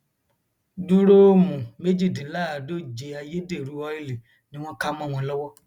dùroomu méjìdínláàádóje ayédèrú ọìlì ni wọn kà mọ wọn lọwọ